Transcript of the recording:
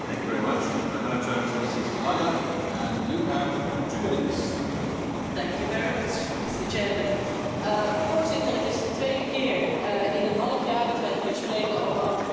Voorzitter, het is de tweede keer in een half jaar dat wij hier spreken over antibioticaresistentie één keer op initiatief van de Landbouwcommissie, één keer op initiatief van de Commissie milieubeheer en volksgezondheid.